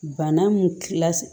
Bana mun tila